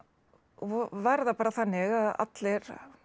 var það bara þannig að allir